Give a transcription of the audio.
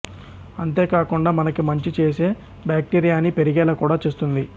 అంతే కాకుండా మనకి మంచి చేసే బాక్టీరియాని పెరిగేలా కూడా చేస్తుంది